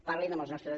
parlin amb els nostres